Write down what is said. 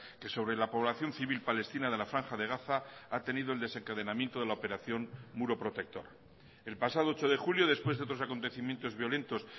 que sobre la población civil palestina de la franja de gaza ha tenido el desencadenamiento de la operación muro protector el pasado ocho de julio después de otros acontecimientos violentos